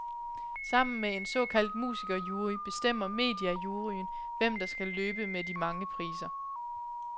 Sammen med en såkaldt musikerjury bestemmer mediajuryen, hvem der skal løbe med de mange priser.